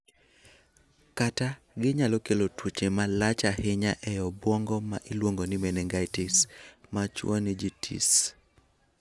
Kata, ginyalo kelo tuoche ma malach ahinya e obwongo ma iluongo ni meningitis (machwo-ni-JI-tis).